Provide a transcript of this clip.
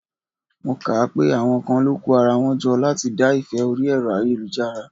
Mo kà á pé àwọn kan lọ kó ara wọn jọ láti dá ìfẹ́ orí Ẹ̀rọ ayélujára.